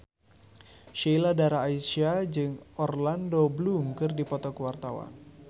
Sheila Dara Aisha jeung Orlando Bloom keur dipoto ku wartawan